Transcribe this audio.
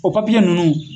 O papiye ninnu